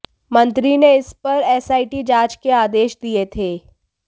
मंत्री ने इस पर एसआईटी जांच के आदेश दिये थे